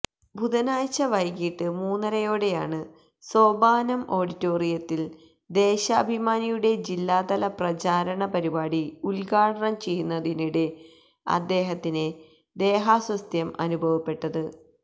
ബുധനാഴ്ച വൈകിട്ട് മൂന്നരയോടെയാണ് സോപാനം ഓഡിറ്റോറിയത്തില് ദേശാഭിമാനിയുടെ ജില്ലാതല പ്രചാരണ പരിപാടി ഉദ്ഘാടനം ചെയ്യുന്നതിനിടെ അദ്ദേത്തിന് ദേഹാസ്വസ്ഥ്യം അനുഭവപ്പെട്ടത്